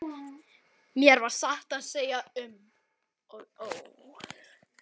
Mér varð satt að segja um og ó.